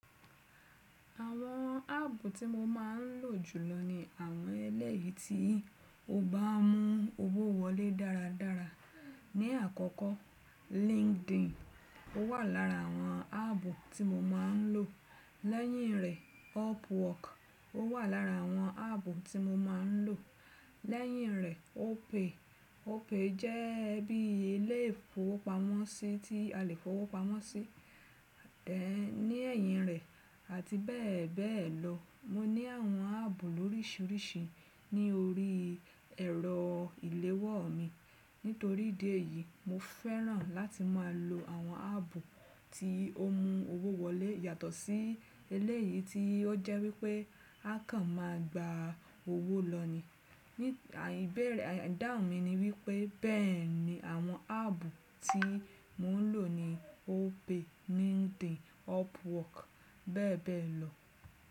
Àwọn app tí mo máa ń lò jùlọ ni àwọn ẹlẹ́eyi tí o bá mú owó wọlé dáradára. Ni àkọ́kọ́ LinkedIn ó wà lára àwọn app tí mo máa ń lò. Lẹ́yìn rẹ̀ Upwork ó wà lára àwọn app tí mo máa ń lò. Lẹ́yìn rẹ̀ Opay. Opay jẹ́ bí ile ifowopamọ́ sí tí a lè fowó pamọ́ sí. Ẹ̀ ní ẹ̀yìn rẹ̀ àti bẹ́ẹ̀ bẹ́ẹ̀ lọ. Mo ní àwọn app órísìírísìí ní orí ẹ̀rọ ìléwọ́ mi. Nítorí ìdí èyí, mo fẹ́ràn láti máa lo àwọn app tí ó mú owó wọlé yàtọ̀ sí eléyìí tí ó jẹ́ wípé a kan máa gba owó lọ ni. Ní ìbẹ̀rẹ̀ àdáhun mi ni wípé bẹ́ẹ̀ni àwọn app tí mò ń lò ni Opay, LinkedIn, Upwork bẹ́ẹ̀ bẹ́ẹ̀ lọ.